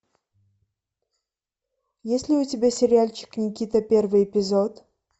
есть ли у тебя сериальчик никита первый эпизод